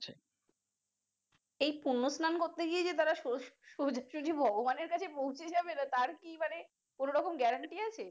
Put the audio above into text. এই পূর্ণ স্লান করতে গিয়ে তারা যদি সোজাসুজি ভগবানের কাছে পৌছে যাবে তার কি কোন রকম guarantee আছে।